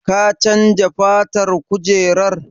Ka chanza fatan kujerar?